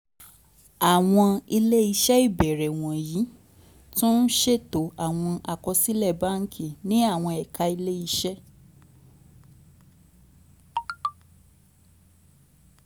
àwọn ilé iṣẹ́ ìbẹ̀rẹ̀ wọ̀nyí tún ń ṣètò àwọn àkọsílẹ̀ báńkì ní àwọn ẹ̀ka ilé iṣẹ́